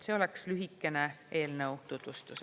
See oleks lühikene eelnõu tutvustus.